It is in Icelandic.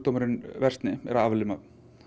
versnun